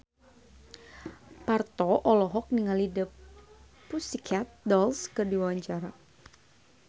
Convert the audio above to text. Parto olohok ningali The Pussycat Dolls keur diwawancara